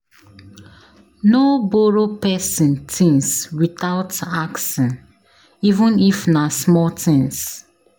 No borrow pesin tins witout asking, even if na small tins.